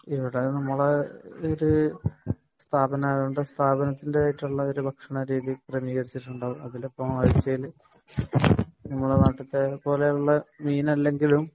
ഇവിടെ നമ്മളെ ഇതിൽ സ്ഥാപനം ആയതുകൊണ്ട് സ്ഥാപനനത്തിന്റേതായ ഭക്ഷണ രീതി ക്രമീകരിച്ചിട്ടുണ്ട് അതിലിപ്പോ ഇറച്ചി നമ്മുടെ നാട്ടിലത്തെ മീനല്ലങ്കിലും